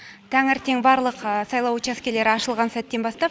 таңертең барлық сайлау учаскелері ашылған сәттен бастап